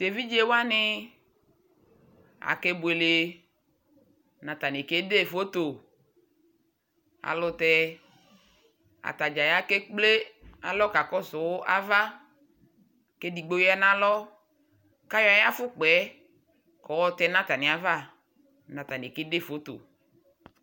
tʋɛvidzɛ wani akɛ bʋɛlɛ nʋ atani kɛdɛ phɔtɔ alʋtɛ atagya ya kɛ ɛkplɛ alɔkakɔsʋ aɣa kʋ ɛdigbɔ yanʋ alɔ kʋ ayɔ ayi aƒʋkpaɛ kʋ ɔtɛnʋ atani aɣa nʋ atani kɛdɛ phɔtɔ